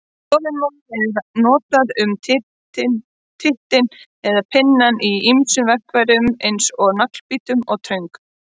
Þolinmóður er notað um tittinn eða pinnann í ýmsum verkfærum eins og naglbítum og töngum.